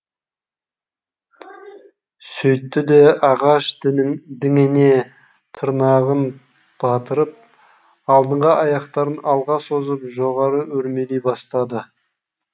сөйтті де ағаш діңіне тырнағын батырып алдыңғы аяқтарын алға созып жоғары өрмелей бастады